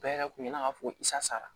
Bɛɛ yɛrɛ kun ye ne ka fosara